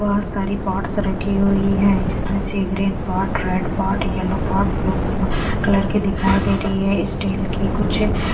बहोत सारी पॉट्स रखी हुई है जिसमें सी green pot red pot yellow pot blue colour की दिखाई दे रही है स्टील की कुछ --